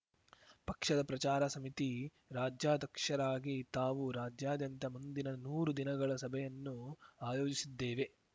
ಪಕ್ಷದ ಪ್ರಚಾರ ಸಮಿತಿ ರಾಜ್ಯಾಧಕ್ಷರಾಗಿ ತಾವು ರಾಜ್ಯಾದ್ಯಂತ ಮುಂದಿನ ನೂರು ದಿನಗಳ ಸಭೆಯನ್ನು ಆಯೋಜಿಸಿದ್ದೇವೆ